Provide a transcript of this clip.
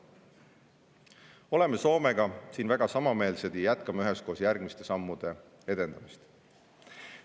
Oleme Soomega siin väga samameelsed ja jätkame üheskoos järgmiste sammude edendamist.